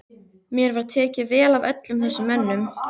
Mér var tekið vel af öllum þessum mönnum.